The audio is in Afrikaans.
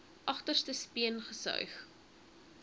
agterste speen gesuig